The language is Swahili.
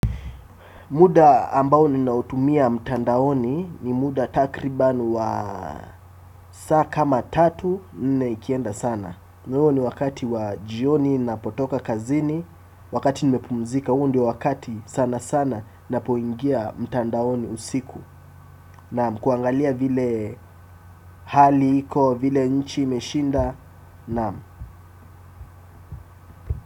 Muda ambao ninautumia mtandaoni ni muda takriban wa saa kama tatu, nne ikienda sana. Na huyo ni wakati wa jioni ninapotoka kazini, wakati nimepumzika huo ndioe wakati sana sana ninapoingia mtandaoni usiku. Nam, kuangalia vile hali iko, vile nchi imeshinda, nam.